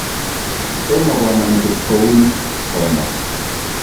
Tomo koama metit kouni, komwa.